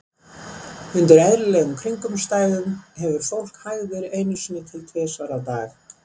Undir eðlilegum kringumstæðum hefur fólk hægðir einu sinni til tvisvar á dag.